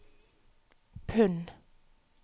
pund